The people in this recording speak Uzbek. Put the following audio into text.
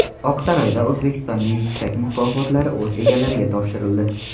Oqsaroyda O‘zbekistonning yuksak mukofotlari o‘z egalariga topshirildi .